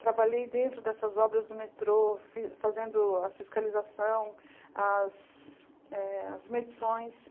Trabalhei dentro dessas obras do metrô, fi fazendo a fiscalização, as é as medições.